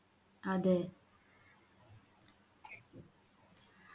അതെ